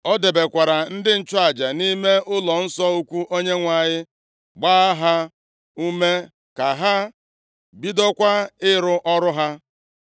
O debekwara ndị nchụaja nʼime ụlọnsọ ukwu Onyenwe anyị, gbaa ha ume ka ha bidokwa ịrụ ọrụ ha.